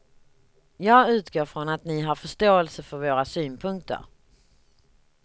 Jag utgår från att ni har förståelse för våra synpunkter.